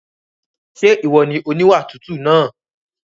Ṣé ìwọ ni oníwà tútù náà?